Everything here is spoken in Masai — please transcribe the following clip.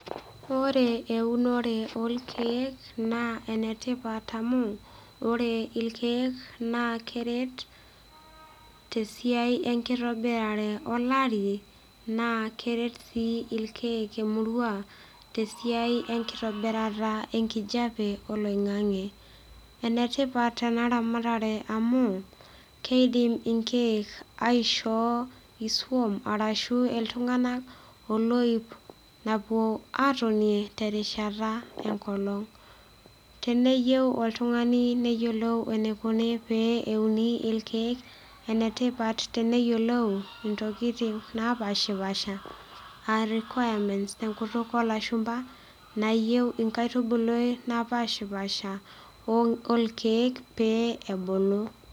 Ore eunore olkiek naa enetipat amu ore ilkeek naa keret tesiai enkitobirare olari naa keret sii ilkeek emurua tesiai enkitobirata enkijape oloing'ang'e enetipat ena ramatare amu keidim inkeek aisho isuam arashu iltung'anak oloip napuo atonie terishata enkolong teneyieu oltung'ani neyiolou enikuni pee euni ilkeek enetipat teneyiolou intokiting napashipasha aa requirements tenkutuk olashumpa nayieu inkaitubuluai napashipasha olkeek pee ebulu.